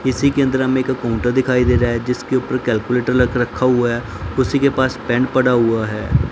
किसी केंद्र में एक काउंटर दिखाई दे रहा है जिसके ऊपर कैलकुलेटर रख रखा हुआ है उसी के पास पेंट पड़ा हुआ है।